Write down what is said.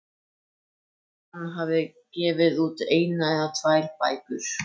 Þótt hann hafi gefið út eina eða tvær bækur.